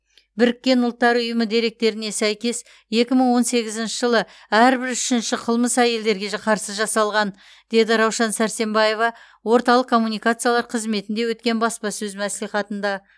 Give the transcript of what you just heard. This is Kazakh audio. біріккен ұлттар ұйымы деректеріне сәйкес екі мың он сегізінші жылы әрбір үшінші қылмыс әйелдерге жы қарсы жасалған деді раушан сәрсембаева орталық коммуникациялар қызметінде өткен баспасөз мәслихатында